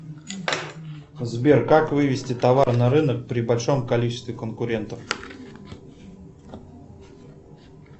сбер как вывести товар на рынок при большом количестве конкурентов